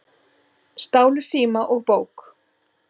Stálu síma og bók